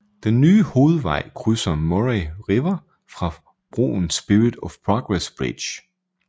Den nye hovedvej krydser Murray River over broen Spirit of Progress Bridge